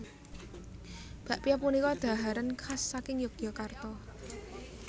Bakpia punika dhaharan khas saking Yogyakarta